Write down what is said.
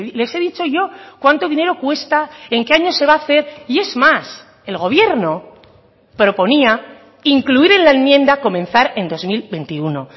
les he dicho yo cuánto dinero cuesta en que año se va a hacer y es más el gobierno proponía incluir en la enmienda comenzar en dos mil veintiuno